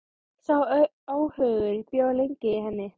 Sá óhugur bjó lengi í henni.